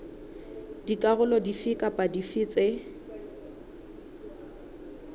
dikarolo dife kapa dife tse